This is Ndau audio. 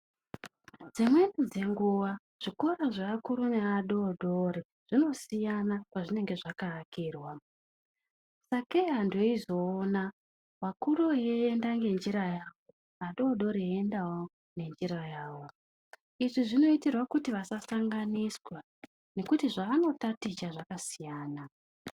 Dzimweni dzenguwa zvikora zveakuru neadoodori zvinosiyana pazvinenge zvakaakirwa sakei antu eizoona vakuru veienda ngenjira yavo vadoodori veiendawo ngenjira yavo. Izvi zvinoitirwa kuti vasasanganiswa ngekuti zvavanotaticha zvakasiyana.